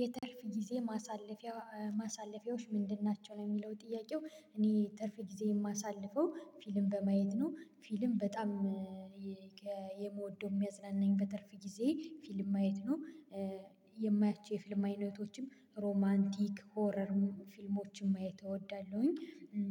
የትርፍ ጊዜ ማሳለፊያ ማሳለፊያዎች ምንድን ናቸው ነው የሚለው ጥያቄው? እኔ ትርፍ ጊዜ የማሳልፈው ፊልም በማየት ነው ፊልም በጣም የምወደው የሚያዝናናኝ በትርፍ ጊዜየ ፊልም ማየት ነው። የማያቸው የፊልም አይነቶችም ሮማንቲክ ሆረር ፊልሞችን ማየት እወዳለሁኝ።